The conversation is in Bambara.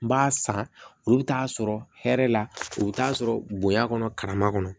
N b'a san olu bɛ t'a sɔrɔ hɛrɛ la u bɛ t'a sɔrɔ bonya kɔnɔ karama kɔnɔ